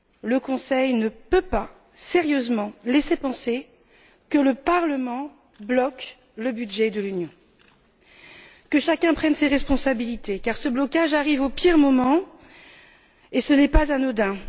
Le Conseil ne peut pas sérieusement laisser penser que le Parlement bloque le budget de l'Union. Que chacun prenne ses responsabilités, car ce blocage arrive au pire moment et ce n'est pas anodin.